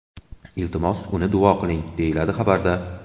Iltimos, uni duo qiling”, deyiladi xabarda.